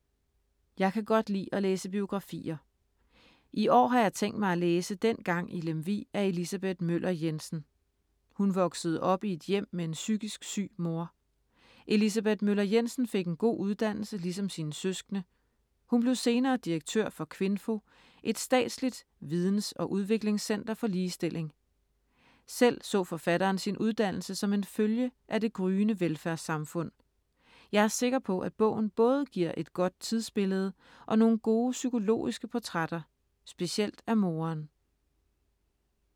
Jeg kan godt lide at læse biografier. I år har jeg tænkt mig at læse Dengang i Lemvig af Elisabeth Møller Jensen. Hun voksede op i et hjem med en psykisk syg mor. Elisabeth Møller Jensen fik en god uddannelse ligesom sine søskende. Hun blev senere direktør for Kvinfo, et statsligt videns- og udviklingscenter for ligestilling. Selv så forfatteren sin uddannelse som en følge af det gryende velfærdssamfund. Jeg er sikker på, at bogen både giver et godt tidsbillede og nogle gode psykologiske portrætter, specielt af moderen.